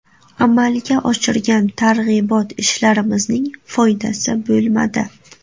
Amalga oshirgan targ‘ibot ishlarimizning foydasi bo‘lmadi.